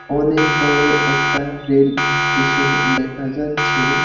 অনেক বড়ো একটা রেল এস্টেশন দেখা যাচ্ছে।